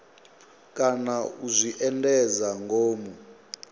kana u zwi endedza ngomu